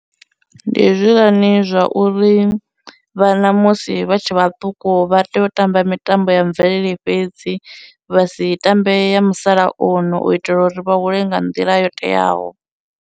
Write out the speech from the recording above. Ndi hezwiḽani zwa uri vhana musi vha tshe vhaṱuku vha tea u tamba mitambo ya mvelele fhedzi vha si tambea ya musalauno u itela uri vha hule nga nḓila yo teaho.